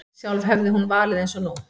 Sjálf hefði hún valið eins nú.